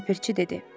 Ləpirçi dedi.